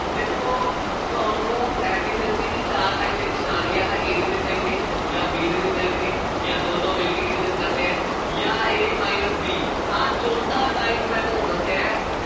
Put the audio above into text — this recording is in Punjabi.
ਦੇਖੋ ਤੁਹਾਨੂੰ efficiency ਚ ਚਾਰ type ਦੇ question ਆਉਣਗੇ ਜਾਂ ਤਾਂ A ਦੇ ਦਿਨ ਦੇਣਗੇ, ਜਾਂ B ਦੇ ਦਿਨ ਦੇ ਦੇਣਗੇ, ਜਾਂ ਦੋਨੋ ਮਿਲਕੇ ਕਿੰਨੇ ਦਿਨ ਚ ਕਰਦੇ ਹੈ ਜਾਂ A minus B ਆਹ ਚੌਥਾਂ type ਮੈਂ ਤੁਹਾਨੂੰ ਦੱਸਿਆ ਹੈ।